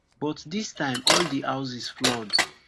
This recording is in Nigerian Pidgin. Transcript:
but dis time all di houses flood